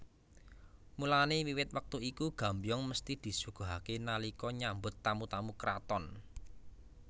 Mulane wiwit wektu iku Gambyong mesthi disuguhake nalika nyambut tamu tamu kraton